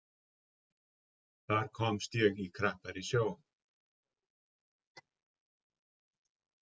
Þar komst ég í krappari sjó.